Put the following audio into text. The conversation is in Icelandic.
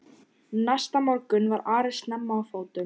Næsta morgun var Ari snemma á fótum.